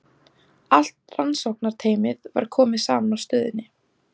Allt rannsóknarteymið var komið saman á stöðinni.